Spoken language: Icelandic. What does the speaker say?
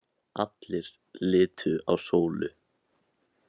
Allir litu á Sólu.